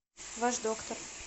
ваш доктор